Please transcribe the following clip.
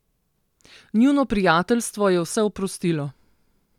Njuno prijateljstvo je vse oprostilo.